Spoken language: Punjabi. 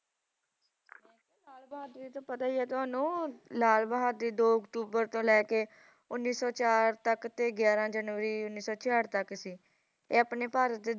ਲਾਲ ਬਹਾਦੁਰ ਜੀ ਤਾ ਪਤਾ ਹੀ ਹੈ ਤੁਹਾਨੂੰ ਲਾਲ ਬਹਾਦੁਰ ਸ਼ਾਸਤਰੀ ਜੀ ਦੋ ਅਕਤੂਬਰ ਤੋਂ ਲੈ ਕੇ ਉੱਨੀ ਸੌ ਚਾਰ ਤਕ ਤੇ ਗਿਰਾਹ ਜਨਵਰੀ ਉੱਨੀ ਸੌ ਚਿਆਠ ਤੱਕ ਥੇ ਇਹ ਆਪਣੇ ਭਾਰਤ ਦੇ